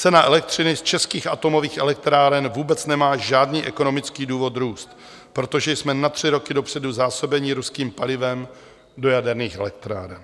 Cena elektřiny z českých atomových elektráren vůbec nemá žádný ekonomický důvod růst, protože jsme na tři roky dopředu zásobeni ruským palivem do jaderných elektráren.